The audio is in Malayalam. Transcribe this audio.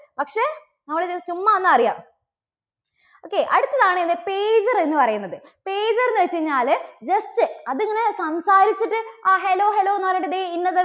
ചുമ്മാ ഒന്ന് അറിയാം. okay അടുത്തതാണ് എന്താ pager എന്നു പറയുന്നത്. pager എന്നുവച്ച് കഴിഞ്ഞാല് just അത് ഇങ്ങനെ സംസാരിച്ചിട്ട് ആ hello, hello എന്നു പറഞ്ഞിട്ട് ദേ ഇന്നത്